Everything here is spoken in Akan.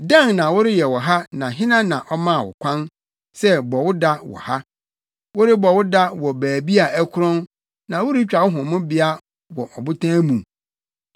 Dɛn na woreyɛ wɔ ha na hena na ɔmaa wo kwan sɛ bɔ wo da wɔ ha, worebɔ wo da wɔ baabi a ɛkorɔn na woretwa wo homebea wɔ ɔbotan mu?